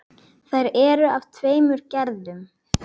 Þær eru af tveimur gerðum.